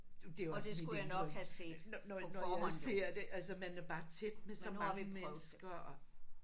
Det var også mit indtryk når når jeg ser det altså man er bare tæt med så mange mennesker og